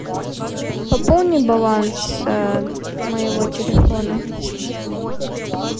пополни баланс моего телефона